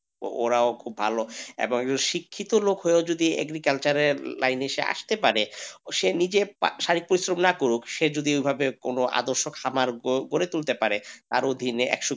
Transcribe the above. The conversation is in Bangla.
ওরাও খুব ভালো এবং শিক্ষিত লোক হয়ে যদি agriculture এর লাইনে আসতে পারে সে নিজে শারীরিক পরিশ্রম না করুক সে যদি ওইভাবে আদর্শ খামার গড়ে তুলতে করতে পারে তার অধীনে,